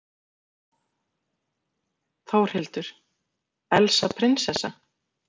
Þórhildur: Elsa prinsessa?